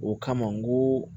O kama n ko